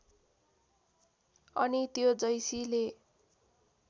अनि त्यो जैसीले